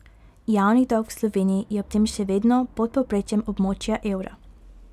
Javni dolg v Sloveniji je ob tem še vedno pod povprečjem območja evra.